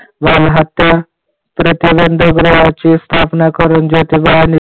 बालहत्या प्रीती बंद गृहाची स्थापना करून ज्योतिबांनी